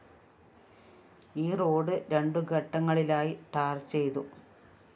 ഈ റോഡ്‌ രണ്ടു ഘട്ടങ്ങളിലായി ടാർ ചെയ്തു